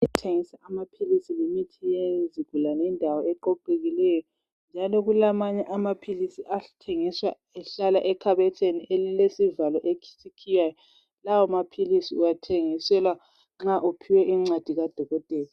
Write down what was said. kuthengiswa amaphilisi lemithi yezigulane yindawo eqoqekileyo njalo kulamanye amaphilisi athengiswa ehlala ekhabothini elkilesivalo esikhiywayo lawo maphilisi uwathengiselwa nxa uphiwe incwadi ka dokotela